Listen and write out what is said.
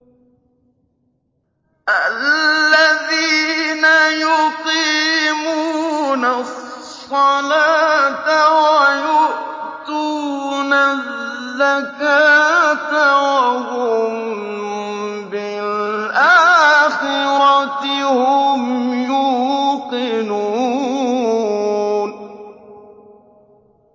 الَّذِينَ يُقِيمُونَ الصَّلَاةَ وَيُؤْتُونَ الزَّكَاةَ وَهُم بِالْآخِرَةِ هُمْ يُوقِنُونَ